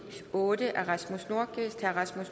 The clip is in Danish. otte af rasmus nordqvist